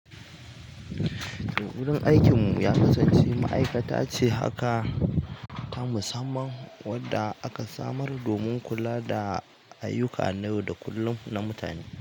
Wurin aikin mu ya kasance ma'aikata ce haka, ta musamman wanda aka samar domin kula da ayyuka na yau da kullum na mutane,